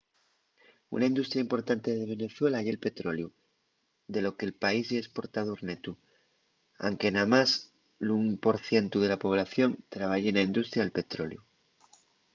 una industria importante de venezuela ye’l petroleu de lo que’l país ye esportador netu anque namás l’ún por cientu de la población trabaye na industria del petroleu